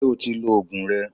Ṣé o ti òògùn rẹ?